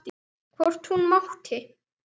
Hvort hún mátti!